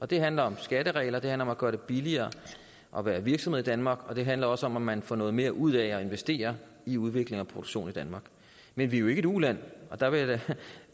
det handler om skatteregler det handler om at gøre det billigere at være virksomhed i danmark og det handler også om at man får noget mere ud af at investere i udvikling og produktion i danmark men vi er jo ikke et uland og der vil jeg da